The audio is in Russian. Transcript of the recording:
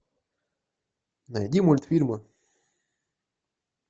найди мультфильмы